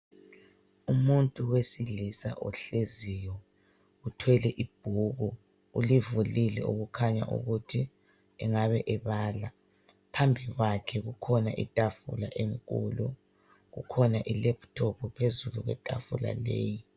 Umuntu owesilisa ohleziyo othwele ibhuku ulivulile okukhanya ukuthi engaba ebala phambi kwakhe kukhona itafula enkulu kukhona ilephithophu phezulu kwetafula leyi.